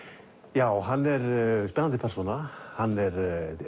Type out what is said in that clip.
já hann er spennandi persóna hann er